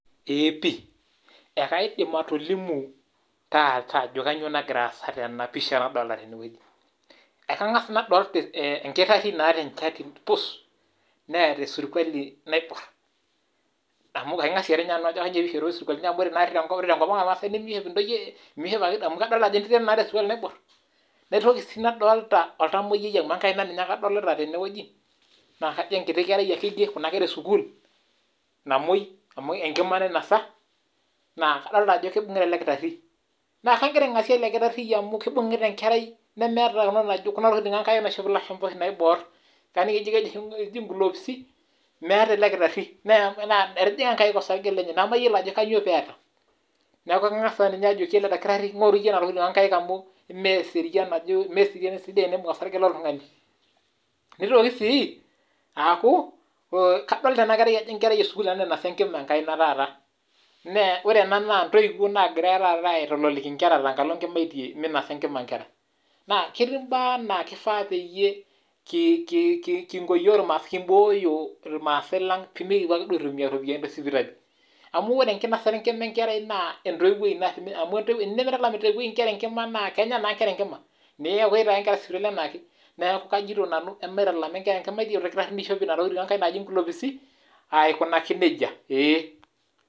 Eeh pii akaidim atolimu taata ajo kanyio nagira aasa tenapisha nadolta tendewueji, akangasa adol enkereri naata enchati pus neata esirkuali naibor amu kaingasie nye nanu ajo kanyio peishopitoi isirkualini amu ore tenkop aang mishop ake ntoyie sirkualini amu mishop ake ntoyie sirkualini, naitoki si nadolta oltamoyiai amu enkaina ake adolta tenewueji na kajo enkiti kerai ake enkerai esukul na enkima nainasa naa kadolta ajo kibunguta ele kirari oleng na kibungita enkerai nemeeta kuna tokitin oshi onkaek naishop ilashumba kaning ajo meeta ele kirari mejing nkaek osarge lenye, nakayiolo ajo kanyio peeta, neaku kangasa nye ajokiele dakitari amu meserian mesidai teneimbung osarge loltungani, notoki sii aku kadolta ajo enkerai ena esukul nainosa enkima enkaina taiata, ore ena na ntoiwuo nagira aitololiliki nkera taata tenkalo nkimaitie minosa nkera, na ketii mbaa naa kifaa peyieu kimbooyo yiok irmaasai pemikipuo ake aibukoo ropiyani tesipitali, amu ore enkinasata enkima, maitalama nkera nkimaitie aikunaki nejia.